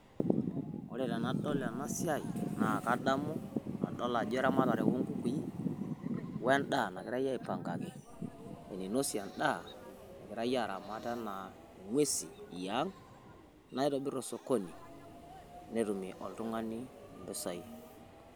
wore tenadol enasiai naa kadamu adool ajo eramatare onkukui woendaa nagirai aiipangaki eninosie igiraa aramat enaa ng'uesi eang naitobir osokoni netumie oltung'ani impisai